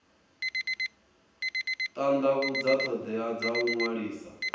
tandavhudza thodea dza u ṅwalisa